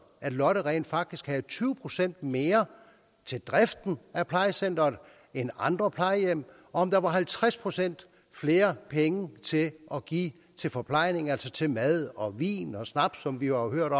at lotte rent faktisk havde tyve procent mere til driften af plejecenteret end andre plejehjem og om der var halvtreds procent flere penge til at give forplejning for altså til mad og vin og snaps som vi jo har hørt